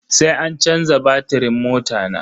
Sai an canza batirin mota na.